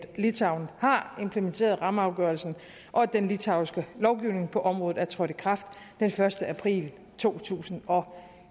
litauen har implementeret rammeafgørelsen og at den litauiske lovgivning på området er trådt i kraft den første april to tusind og